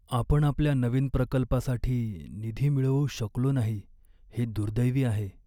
आपण आपल्या नवीन प्रकल्पासाठी निधी मिळवू शकलो नाही हे दुर्दैवी आहे.